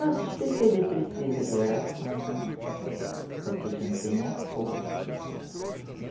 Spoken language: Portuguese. Nosso espírito ele precisa de oração, para que a gente tenha força.